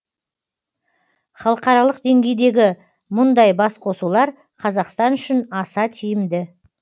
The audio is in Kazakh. халықаралық деңгейдегі мұндай басқосулар қазақстан үшін аса тиімді